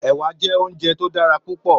Èwà jè óunjè tó dàrá púpò